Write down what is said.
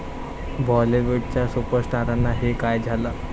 बॉलिवूडच्या सुपरस्टार्सना 'हे' काय झालं?